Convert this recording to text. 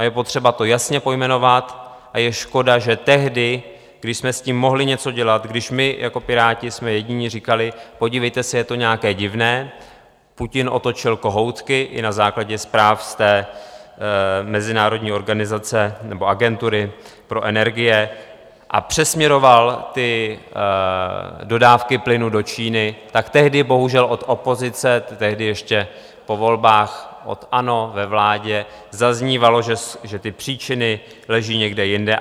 A je potřeba to jasně pojmenovat a je škoda, že tehdy, když jsme s tím mohli něco dělat, když my jako Piráti jsme jediní říkali, podívejte se, je to nějaké divné, Putin otočil kohoutky, i na základě zpráv z té mezinárodní organizace, nebo agentury pro energie, a přesměroval ty dodávky plynu do Číny, tak tehdy bohužel od opozice, tehdy ještě po volbách od ANO ve vládě, zaznívalo, že ty příčiny leží někde jinde.